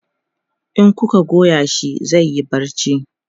in kuka Goya shi zaiyi barci